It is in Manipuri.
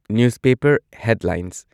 news paper headlines